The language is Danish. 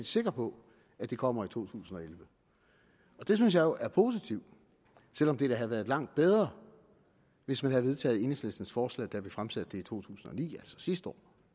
sikker på at det kommer i to tusind og elleve og det synes jeg jo er positivt selv om det da havde været langt bedre hvis man havde vedtaget enhedslistens forslag da vi fremsætte det i to tusind og ni altså sidste år